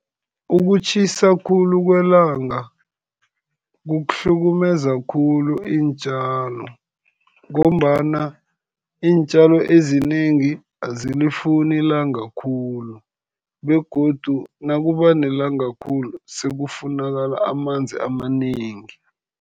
Ukutjhisa khulu kwelanga kuhlukumeza khulu iintjalo, ngombana iintjalo ezinengi azilifuni ilanga khulu. Begodu nakuba nelanga khulu, sekufunakala amanzi amanengi.